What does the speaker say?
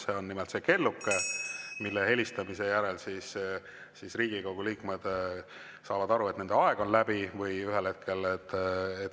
See on nimelt see kelluke , mille helistamise järel Riigikogu liikmed saavad aru, et nende aeg on läbi.